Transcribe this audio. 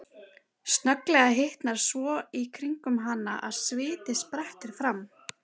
Snögglega hitnar svo í kringum hana að sviti sprettur fram.